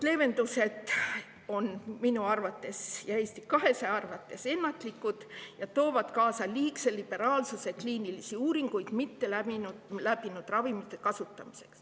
Leevendused on minu arvates ja Eesti 200 arvates ennatlikud ja toovad kaasa liigse liberaalsuse kliinilisi uuringuid mitteläbinud ravimite kasutamisel.